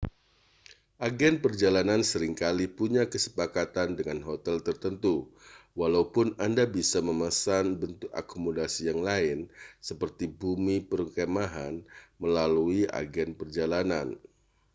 agen perjalanan sering kali punya kesepakatan dengan hotel tertentu walaupun anda bisa memesan bentuk akomodasi yang lain seperti bumi perkemahan melalui agen perjalanan